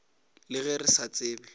le ge re sa tsebe